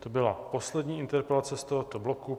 To byla poslední interpelace z tohoto bloku.